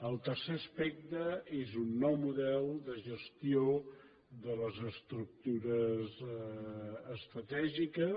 el tercer aspecte és un nou model de gestió de les estructures estratègiques